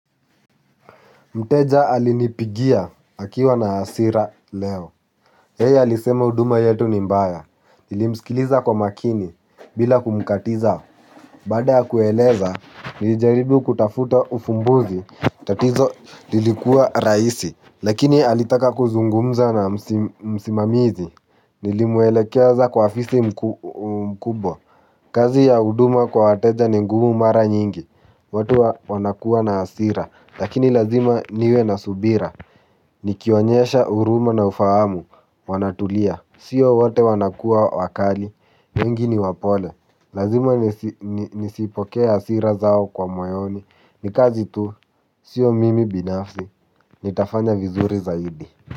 Mteja alinipigia akiwa na hasira leo yeye alisema huduma yetu ni mbaya nilimsikiliza kwa umakini bila kumkatiza. Baada ya kueleza, nilijaribu kutafuta ufumbuzi. Tatizo lilikuwa rahisi. Lakini alitaka kuzungumza na msimamizi. Nilimuelekeza kwa afisa mkubwa. Kazi ya huduma kwa wateja ni ngumu mara nyingi. Watu wanakuwa na hasira. Lakini lazima niwe na subira. Nikionyesha huruma na ufahamu Wanatulia. Sio wote wanakuwa wakali wengi ni wapole. Lazima nisipokee hasira zao kwa moyoni. Ni kazi tu. Sio mimi binafsi. Nitafanya vizuri zaidi.